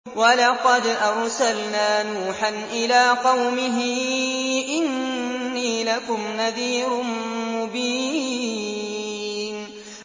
وَلَقَدْ أَرْسَلْنَا نُوحًا إِلَىٰ قَوْمِهِ إِنِّي لَكُمْ نَذِيرٌ مُّبِينٌ